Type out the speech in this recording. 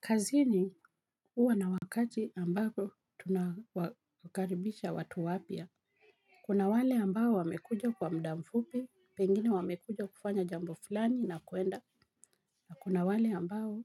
Kazini huwa na wakati ambako tunawakaribisha watu wapya. Kuna wale ambao wamekuja kwa muda mfupi, pengine wamekuja kufanya jambo fulani na kuenda. Na kuna wale ambao